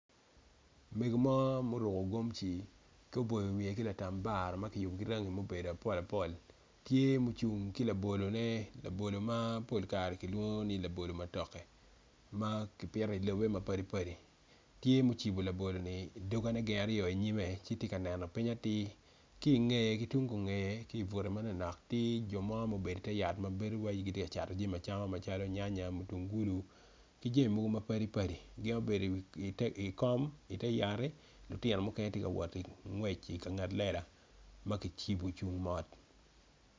Mego mo ma oruko gomci ki oboyo wiye ki latambara ma kiyubo ki rangi ma obeo apol apol tye ma ocung ki labolone labolo ma pol kare kilwongo ni laolo matooke ma kipito i lobe mapadi padi, tye ma ocibo laboloni i dongene gin aryo inyime ci tye ka neno piny atir kingeye ma tung kungeye ki but manok nok tye jo ma gubedo ite yat tye waci ni gitye ka cato jami acama macalo waci nyanya mutungulu ki jami mogo mapadi padi gin gubedi ikom ite yat lutino mukene tye ka wot kingwec i kanget lela ma kicibo ocung mot.